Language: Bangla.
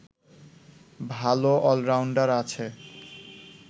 ভালো অলরাউন্ডার আছে